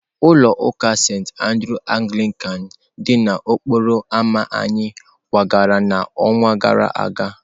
Ulọ uka Sentị Andrews Anglican dị n'okporo ámá anyị kwagara n'ọnwa gara aga.